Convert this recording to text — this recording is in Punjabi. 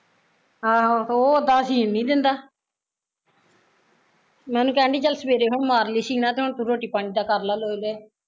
ਆਹੋ ਉਹ ਉੱਦਾ ਸ਼ੀਨ ਨੀ ਦਿੰਦਾ ਮੈਂ ਉਹਨੂੰ ਕਹਿਣ ਡਈ ਚੱਲ ਸਵੇਰੇ ਹੁਣ ਮਾਰਲੀ ਸ਼ੀਨਾਂ ਤੇ ਹੁਣ ਤੂੰ ਰੋਟੀ ਪਾਣੀ ਦਾ ਕਰਲਾ ਲੋਏ ਲੋਏ